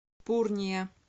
пурния